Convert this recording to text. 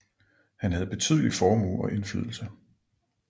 Han havde betydelig formue og indflydelse